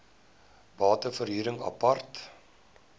bate verhuring apart